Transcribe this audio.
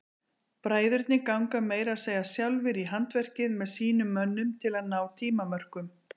Bræðurnir ganga meira að segja sjálfir í handverkið með sínum mönnum til að ná tímamörkum.